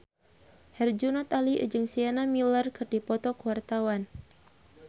Herjunot Ali jeung Sienna Miller keur dipoto ku wartawan